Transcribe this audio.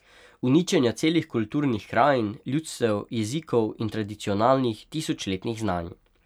Uničenja celih kulturnih krajin, ljudstev, jezikov in tradicionalnih, tisočletnih znanj.